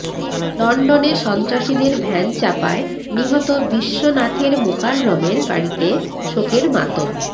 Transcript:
লন্ডনে সন্ত্রাসীদের ভ্যান চাপায় নিহত বিশ্বনাথের মোকাররমের বাড়িতে শোকের মাতম